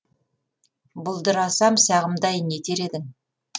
бұлдырасам сағымдай не етер едің